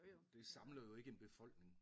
Det samler jo ikke en befolkning